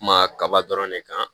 Kuma kaba dɔrɔn de kan